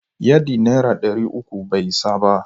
Yadi naira dari uku bai isa ba.